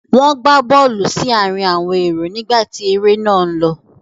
Wọ́n gbá bọ́ọ́lù sí àárín àwọn èrò nígbà tí eré náà ń lọ.